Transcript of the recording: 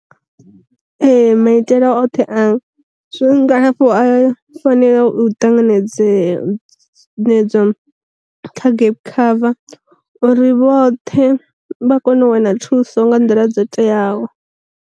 Ee maitele oṱhe a zwa ngalafho a fanela u tanganedzee nedzwa kha gap cover, uri vhoṱhe vha kone u wana thuso nga nḓila dzo teaho.